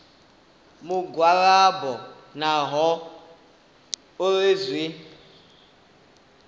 mugwalabo naho hu uri zwi